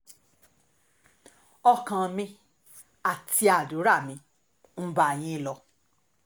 ọkàn mi àti àdúrà mi ń bá yín lọ